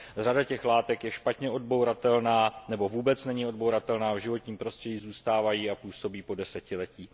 Řada těch látek je špatně odbouratelná nebo vůbec není odbouratelná a v životním prostředí zůstávají a působí po desetiletí.